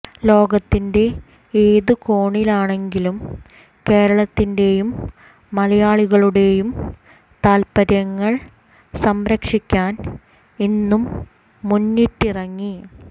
ലോകത്തിൻറെ ഏതു കോണിലാണെങ്കിലും കേരളത്തിൻറെയും മലയാളികളുടെയും താല്പര്യങ്ങൾ സംരക്ഷിക്കാൻ എന്നും മുന്നിട്ടിറങ്ങി